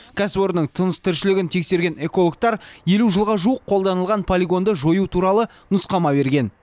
кәсіпорынның тыныс тіршілігін тексерген экологтар елу жылға жуық қолданылған полигонды жою туралы нұсқама берген